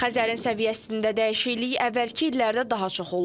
Xəzərin səviyyəsində dəyişiklik əvvəlki illərdə daha çox olub.